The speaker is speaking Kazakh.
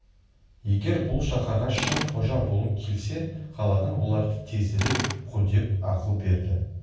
егер бұл шаһарға шын қожа болғың келсе қаладан оларды тезірек қудеп ақыл берді